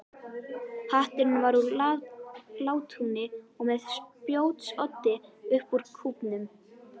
Hatturinn var úr látúni og með spjótsoddi upp úr kúfnum.